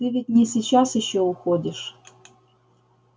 ты ведь не сейчас ещё уходишь